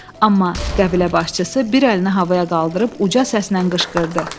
Amma qəbilə başçısı bir əlini havaya qaldırıb uca səslə qışqırdı: